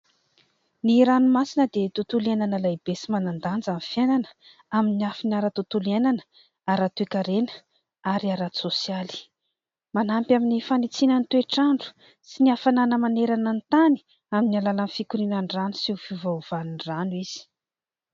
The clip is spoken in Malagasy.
Ny ranomasina dia tontolo iainana lehibe sy manan-danja amin'ny fiainana, amin'ny lafiny ara-tontolo iainana, ara-toekarena ary ara-tsosialy. Manampy amin'ny fanitsiana ny toetr'andro sy ny hafanana manerana ny tany amin'ny alalan'ny fikorianan'ny rano sy ny fiovaovan'ny rano izy.